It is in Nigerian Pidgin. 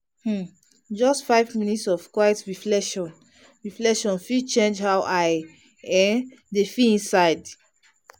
um just five minutes of quiet reflection reflection fit change how i um dey feel inside.